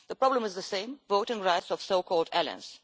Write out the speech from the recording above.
The problem is the same voting rights of so called aliens.